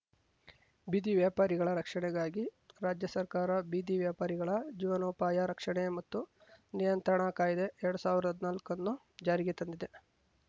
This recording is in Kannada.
ಬೀದಿ ವ್ಯಾಪಾರಿಗಳ ರಕ್ಷಣೆಗಾಗಿ ರಾಜ್ಯ ಸರ್ಕಾರ ಬೀದಿ ವ್ಯಾಪಾರಿಗಳ ಜೀವನೋಪಾಯ ರಕ್ಷಣೆ ಮತ್ತು ನಿಯಂತ್ರಣ ಕಾಯ್ದೆಎರಡ್ ಸಾವಿರ್ದಾ ಹದ್ನಾಲ್ಕಅನ್ನು ಜಾರಿಗೆ ತಂದಿದೆ